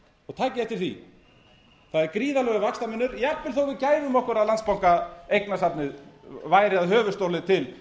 takið eftir því það er gríðarlegur vaxtamunur jafnvel þó að við gæfum áður að landsbankaeignasafnið væri að höfuðstóli til